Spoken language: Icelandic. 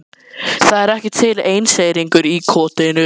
Það er ekki til einseyringur í kotinu.